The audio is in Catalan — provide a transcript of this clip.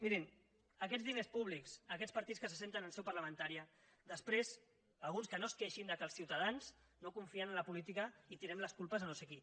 mirin aquests diners públics aquests partits que s’asseuen en seu parlamentària després alguns que no es queixin que els ciutadans no confien en la política i tirem les culpes a no sé qui